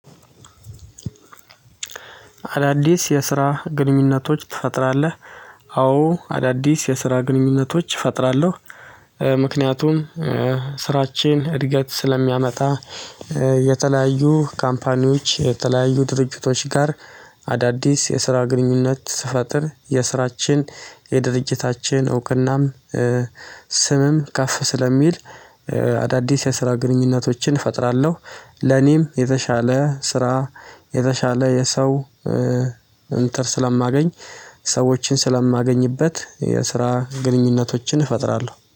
አዳዲስ የስራ ግንኙነቶች ትፈጥራለህ? አዎ አዳዲስ የስራ ግንኙነቶች እፈጥራለሁ። ምክንያቱም ስራችን እድገት ስለሚያመጣ። የተለያዩ ካምፓኒዎች የተለያዩ ድርጅቶች ጋር። አዳዲስ የስራ ግንኙነት ስፈጥር የስራችን የድርጅታችን እውቅናም ስምም ካፍ ስለሚል። አዳዲስ የስራ ግንኙነቶችን እፈጥራለሁ። ለኔም የተሻለ ስራ የተሻለ የሰው እንትን ስለማገኝ። ሰዎችን ስለማገኝበት የስራ ግንኙነቶችን እፈጥራለሁ